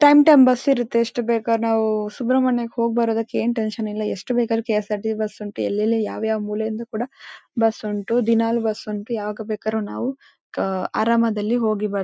Time time bus ಇರತ್ತೆ ಎಷ್ಟು ಬೇಕು ನಾವು ಸುಬ್ರಮ್ಮಣ್ಯಕ್ಕೆ ಹೋಗ್ಬರೋದಕ್ಕೆ ಏನ್ ಟೆನ್ಷನ್ ಇಲ್ಲ ಎಷ್ಟು ಬೇಕಾರು ಕೆ.ಎಸ್.ಆರ್.ಟಿ.ಸಿ. ಬಸ್ ಉಂಟು ಎಲ್ಲೆಲ್ಲಿ ಯಾವ ಯಾವ ಮೂಲೆ ಇಂದ ಕೂಡಾ ಬಸ್ ಉಂಟು ದಿನಾಲು ಬಸ್ ಉಂಟು. ಯಾವಾಗ ಬೇಕಾದರು ನಾವು ಕಾ ಅರಾಮದಲ್ಲಿ ಹೋಗಿ ಬರ್--